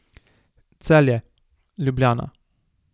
Celje, Ljubljana.